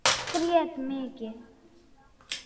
Grét mikið.